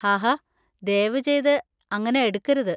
ഹാഹാ ദയവുചെയ്ത് അങ്ങനെ എടുക്കരുത്.